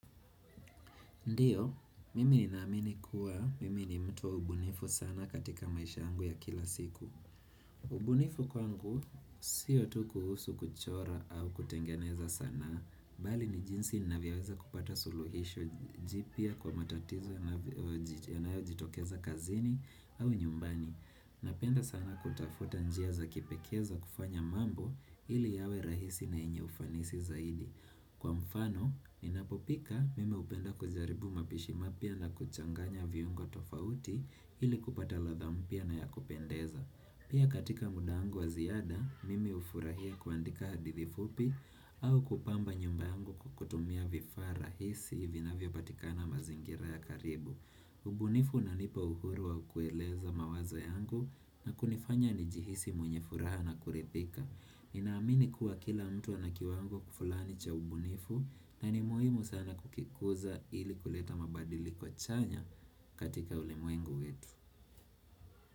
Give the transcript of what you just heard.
Ndiyo, mimi ninaamini kuwa, mimi ni mtu wa ubunifu sana katika maisha yangu ya kila siku. Ubunifu kwangu, siyo tu kuhusu kuchora au kutengeneza sanaa, bali ni jinsi ninavyoweza kupata suluhisho jipya kwa matatizo yanayojitokeza kazini au nyumbani. Napenda sana kutafuta njia za kipekee za kufanya mambo ili yawe rahisi na enye ufanisi zaidi. Kwa mfano, ninapopika mimi hupenda kujaribu mapishi mapya na kuchanganya viungo tofauti ili kupata ladha mpya na ya kupendeza. Pia katika muda wangu wa ziada, mimi hufurahia kuandika hadithi fupi au kupamba nyumba yangu kwa kutumia vifaa rahisi vinavyopatikana mazingira ya karibu. Ubunifu unanipa uhuru wa kueleza mawazo yangu na kunifanya nijihisi mwenye furaha na kurithika. Ninaamini kuwa kila mtu ana kiwango fulani cha ubunifu na ni muhimu sana kukikuza ili kuleta mabadiliko chanya katika ulimwengu wetu.